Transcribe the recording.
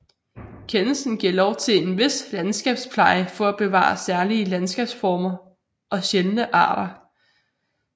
Kendelsen giver lov til en vis landskabspleje for at bevare særlige landskabsformer og sjældne arter